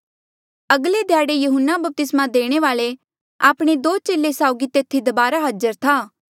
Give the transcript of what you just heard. अगले ध्याड़े यहून्ना बपतिस्मा देणे वाल्ऐ आपणे दो चेले साउगी तेथी दबारा हाजर था